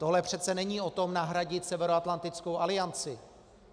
Tohle přece není o tom nahradit Severoatlantickou alianci.